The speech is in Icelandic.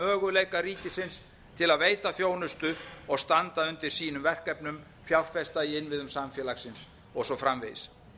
möguleika ríkisins til að veita þjónustu og standa undir sínum verkefnum fjárfesta í innviðum samfélagsins og svo framvegis